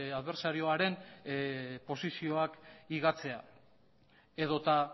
adbertsarioaren posizioak higatzea edota